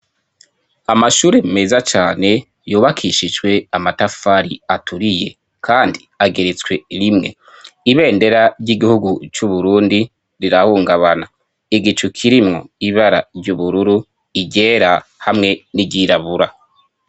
Amashure meza cane yubakishijwe amatafari aturiye, kandi ageretswe rimwe ibendera ry'igihugu c'uburundi rirahungabana igicu kirimwo ibara ry'ubururu iryera hamwe n'iryirabura.